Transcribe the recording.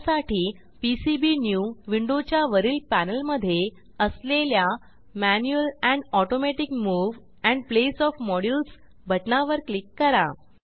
त्यासाठी पीसीबीन्यू विंडोच्या वरील पॅनेलमधे असलेल्या manual and automatic move and place of modules बटणावर क्लिक करा